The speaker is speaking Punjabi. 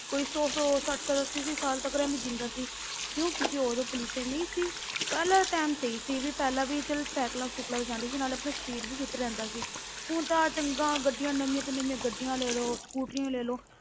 ਕੋਈ ਸੌ ਸੋ, ਸੱਠ ਸੱਠ, ਅੱਸੀ ਅੱਸੀ ਸਾਲ ਤੱਕ ਐਵੇਂ ਜਿਉਂਦਾ ਸੀ ਕਿਉਂ ਕਿਉਂਕਿ ਉਦੋਂ pollution ਨਹੀਂ ਸੀ, ਪਹਿਲਾਂ ਦਾ time ਸਹੀ ਸੀ ਵੀ ਪਹਿਲਾਂ ਵੀ ਚੱਲ ਸਾਇਕਲਾਂ ਸੂਕਲਾਂ ਤੇ ਜਾਂਦੇ ਸੀ, ਨਾਲੇ ਆਪਣਾ ਸਰੀਰ ਵੀ fit ਰਹਿੰਦਾ ਸੀ ਹੁਣ ਤਾਂ ਚੰਗਾ ਗੱਡੀਆਂ ਨਵੀਆਂ ਤੋਂ ਨਵੀਆਂ ਗੱਡੀਆਂ ਲੈ ਲਓ, ਸਕੂਟਰੀਆਂ ਲੈ ਲਓ,